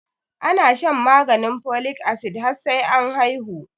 Ana shan maganin folic acid har sai an haihu